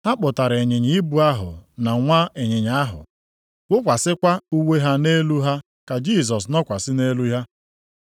Ha kpụtara ịnyịnya ibu ahụ na nwa ịnyịnya ahụ, wụkwasịkwa uwe ha nʼelu ha ka Jisọs nọkwasị nʼelu ha.